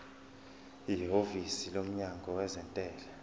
ihhovisi lomnyango wezentela